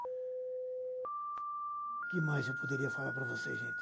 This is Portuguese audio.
O que mais eu poderia falar para vocês, gente?